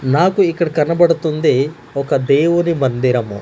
నాకు ఇక్కడ కనపడుతుంది ఒక దేవుని మందిరము.